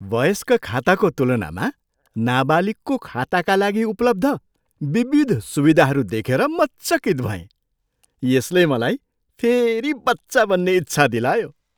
वयस्क खाताको तुलनामा नाबालिगको खाताका लागि उपलब्ध विविध सुविधाहरू देखेर म चकित भएँ। यसले मलाई फेरि बच्चा बन्ने इच्छा दिलायो।